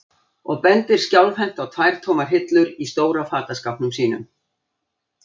og bendir skjálfhent á tvær tómar hillur í stóra fataskápnum sínum.